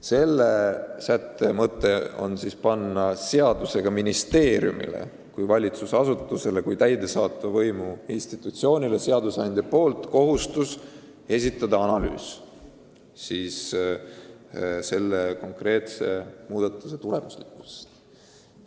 Selle sätte mõte aga on panna seadusega ministeeriumile kui valitsusasutusele, kui täidesaatva võimu institutsioonile kohustus esitada analüüs konkreetse muudatuse tulemuslikkuse kohta.